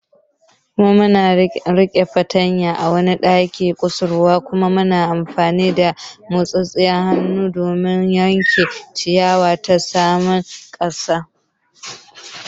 Muna riƙe fartanya a wani ɗan kusurwa kuma muna amfani da motsin hannu don yanke ciyawa ta saman ƙasa.